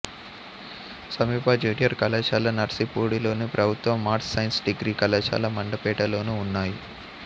సమీప జూనియర్ కళాశాల నర్సిపూడిలోను ప్రభుత్వ ఆర్ట్స్ సైన్స్ డిగ్రీ కళాశాల మండపేటలోనూ ఉన్నాయి